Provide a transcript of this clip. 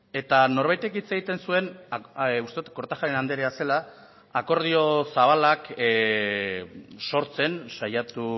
eta norbaitek hitz egiten zuen uste dut kortajarena andrea zela akordio zabalak sortzen saiatu